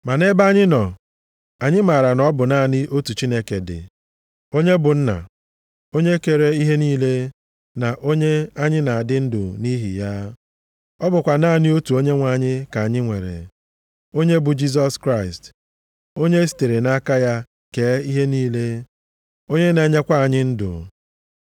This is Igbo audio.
Ma nʼebe anyị nọ, anyị maara na ọ bụ naanị otu Chineke dị, onye bụ Nna, onye kere ihe niile, na onye anyị na-adị ndụ nʼihi ya. Ọ bụkwa naanị otu Onyenwe anyị ka anyị nwere, onye bụ Jisọs Kraịst, onye e sitere nʼaka ya kee ihe niile, onye na-enyekwa anyị ndụ.